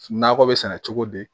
Nakɔ bɛ sɛnɛ cogo di